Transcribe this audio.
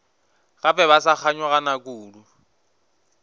gape ba sa kganyogana kudu